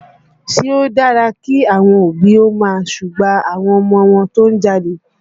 Ṣé ó dára kí àwọn òbí ó máa súgbà ọmọ wọn tó ń jalè?